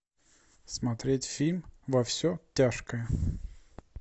смотреть фильм во все тяжкое